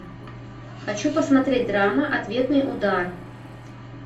хочу посмотреть драма ответный удар